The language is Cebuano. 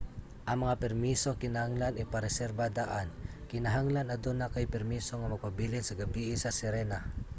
ang mga permiso kinahanglan ipareserba daan. kinahanglan aduna kay permiso nga magpabilin sa gabii sa sirena